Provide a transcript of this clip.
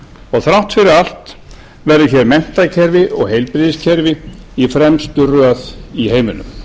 og þrátt fyrir allt verður hér menntakerfi og heilbrigðiskerfi í fremstu röð í heiminum